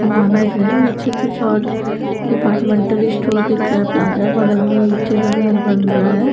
सामान दिख रहा है नीचे कुछ और डिपार्टमेंटल स्टोर दिख रहा है प्लाजा बगल में ईंटे का घर बन रहा है।